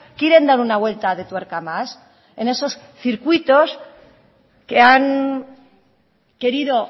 quieren dar una vuelta de tuerca más en esos circuitos que han querido